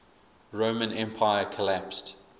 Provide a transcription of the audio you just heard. roman empire collapsed